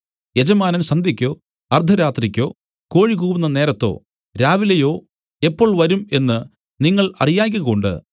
യജമാനൻ സന്ധ്യയ്ക്കോ അർദ്ധരാത്രിക്കോ കോഴികൂകുന്ന നേരത്തോ രാവിലെയോ എപ്പോൾ വരും എന്നു നിങ്ങൾ അറിയായ്കകൊണ്ട്